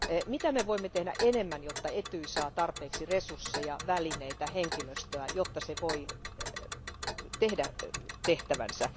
Mitä me voimme tehdä enemmän, jotta Etyj saa tarpeeksi resursseja, välineitä ja henkilöstöä, jotta se voi tehdä tehtävänsä?